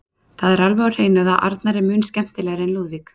Það er alveg á hreinu að Arnar er mun skemmtilegri en Lúðvík.